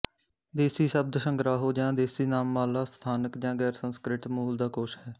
ਦੇਸੀ ਸ਼ਬਦਸੰਗਰਾਹੋ ਜਾਂ ਦੇਸੀਨਾਮਮਾਲਾ ਸਥਾਨਕ ਜਾਂ ਗੈਰਸੰਸਕ੍ਰਿਤ ਮੂਲ ਦਾ ਕੋਸ਼ ਹੈ